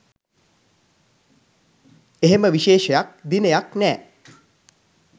එහෙම විශේෂයක් දිනයක් නෑ